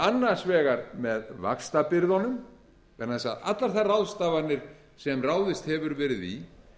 annars vegar með vaxtabyrðunum vegna þess að allar þær ráðstafanir sem ráðist hefur verið í